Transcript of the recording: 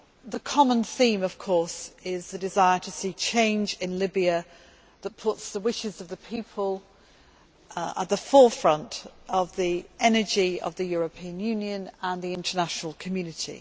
The common theme, of course, is the desire to see change in Libya that puts the wishes of the people at the forefront of the energy of the European Union and the international community.